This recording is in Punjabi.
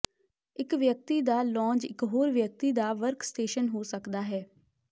ਇਕ ਵਿਅਕਤੀ ਦਾ ਲੌਂਜ ਇਕ ਹੋਰ ਵਿਅਕਤੀ ਦਾ ਵਰਕਸਟੇਸ਼ਨ ਹੋ ਸਕਦਾ ਹੈ